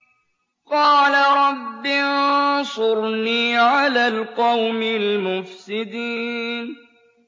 قَالَ رَبِّ انصُرْنِي عَلَى الْقَوْمِ الْمُفْسِدِينَ